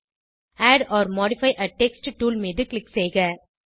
add or modify a text tool மீது click செய்க